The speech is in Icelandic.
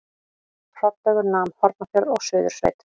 Hrollaugur nam Hornafjörð og Suðursveit.